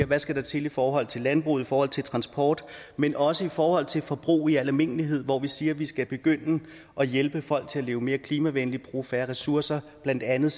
der skal til i forhold til landbruget og i forhold til transporten men også i forhold til forbrug i al almindelighed hvor vi siger at vi skal begynde at hjælpe folk til at leve mere klimavenligt og bruge færre ressourcer blandt andet